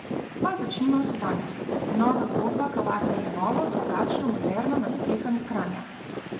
Pa začnimo v sedanjosti: "Nova zgodba kavarne je novo, drugačno, moderno nad strehami Kranja.